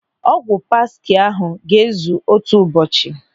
Ọgwụ paksi ahụ ga-ezu otu ụbọchị.